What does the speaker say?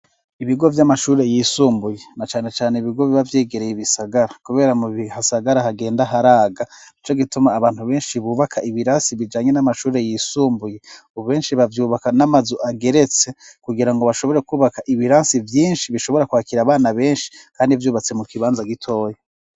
Ibigo vy'amashuri yisumbuye na cane cyane ibigo biba byegereye ibisagara kubera mu bi hasagara hagenda haraga nicyo gituma abantu benshi bubaka ibirasi bijanye n'amashuri yisumbuye ubu benshi bavyubaka n'amazu ageretse kugira ngo bashobore kubaka ibirasi byinshi bishobora kwakira abana benshi kandi byubatse mu kibanza gitoyi.